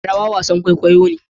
rawa wasan kwaikwayo ne